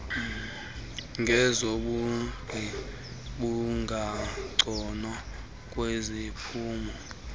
ngezobugqi bungangcono kwiziphumo